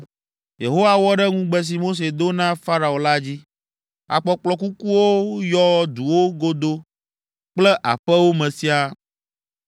Yehowa wɔ ɖe ŋugbe si Mose do na Farao la dzi. Akpɔkplɔ kukuwo yɔ duwo godo kple aƒewo me siaa.